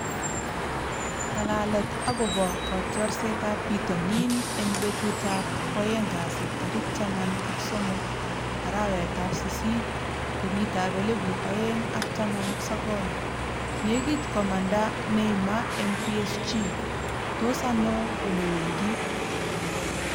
Ng'alalet akobo kotiorsetab bitonin eng betutab kwoeng kasi tarik taman ak somok, arawetab sisit, kenyitab elebu oeng ak taman ak sokol 'Nekit komanda Neymar eng PSG'-Tos ano olewendi ?